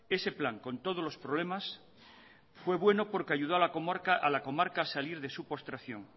ese plan con todos los problemas fue bueno porque ayudó a la comarca a salir de su postración